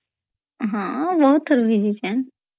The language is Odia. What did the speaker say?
ହଁ ବହୁତ୍ ଥର ଭିଜୀଚେନ୍